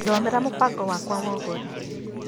Thomera mũbango wakwa wa ũgũri .